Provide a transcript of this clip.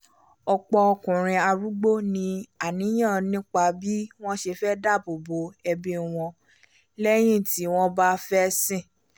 ọ̀pọ̀ ọkùnrin arúgbó ní àníyàn nípa bí wọ́n ṣe máa dáabò bò ẹbí wọn lẹ́yìn ti wọ́n bá fẹ́sìn